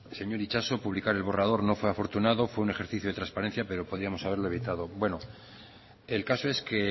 señor itxaso publicar el borrador no fue afortunado fue un ejercicio de transparencia pero podíamos haberlo evitado bueno el caso es que